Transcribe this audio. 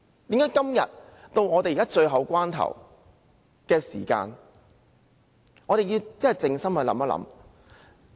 到了今天這個最後關頭，我們真的要靜心思考。